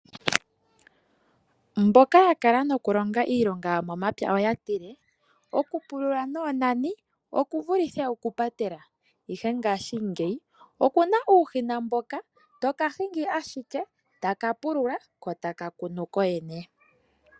Mboka ya kala noku longa iilonga yo momapya oya tile, ku pulula noonani oku vulithe oku patela. Ihe ngaashingeyi okuna uushina mboka toka hingi ashike, taka pulula, ko taka kunu kokene.